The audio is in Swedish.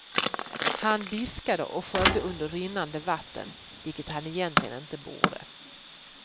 Han diskade och sköljde under rinnande vatten, vilket han egentligen inte borde.